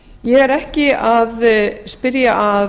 ég er ekki að spyrja að